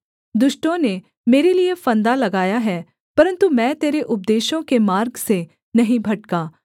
दुष्टों ने मेरे लिये फंदा लगाया है परन्तु मैं तेरे उपदेशों के मार्ग से नहीं भटका